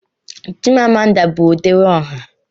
Chimamanda bụ odere ọha.